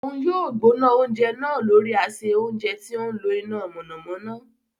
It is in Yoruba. Òun yóò gbóná oúnjẹ náà lórí ase ounjẹ tí o ńlo iná mọ̀nàmọ́ná